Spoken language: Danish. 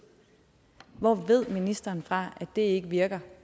hvor ved ministeren så fra at det ikke virker